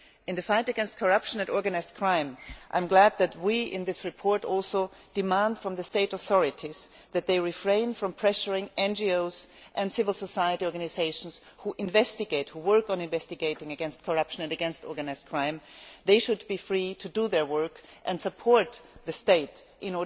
In the fight against corruption and organised crime, I am glad that in this report, we also demand from the state authorities that they refrain from pressurising NGOs and civil society organisations that investigate corruption and organised crime. They should be free to do their work and support the state in